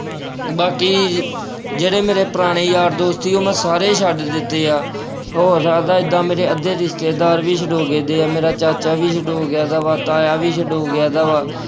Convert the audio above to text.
ਬਾਕੀ ਜਿਹੜੇ ਮੇਰੇ ਪੁਰਾਣੇ ਯਾਰ ਦੋਸਤ ਸੀ ਉਹ ਮੈਂ ਸਾਰੇ ਛੱਡ ਦਿੱਤੇ ਆ, ਹੋ ਸਕਦਾ ਏਦਾਂ ਮੇਰੇ ਅੱਧੇ ਰਿਸ਼ਤੇਦਾਰ ਵੀ ਛੁਡੋ ਦੇ ਗੇ ਆ, ਮੇਰਾ ਚਾਚਾ ਵੀ ਛੁਡੋ ਗਿਆ ਦਾ ਵਾ, ਸਕਾ ਤਾਇਆ ਵੀ ਛੁਡੋ ਗਿਆ ਦਾ ਵਾ।